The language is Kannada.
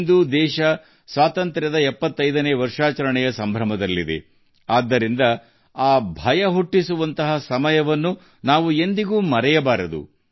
ಇಂದು ದೇಶವು ತನ್ನ ಸ್ವಾತಂತ್ರ್ಯದ 75 ನೇ ವರ್ಷವನ್ನು ಆಚರಿಸುತ್ತಿರುವಾಗ ಅಮೃತ ಮಹೋತ್ಸವವನ್ನು ಆಚರಿಸುತ್ತಿರುವಾಗ ಆ ಭಯಾನಕ ತುರ್ತು ಪರಿಸ್ಥಿತಿಯನ್ನು ನಾವು ಎಂದಿಗೂ ಮರೆಯಬಾರದು